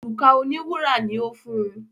òrùka òní wúrà ní o fún.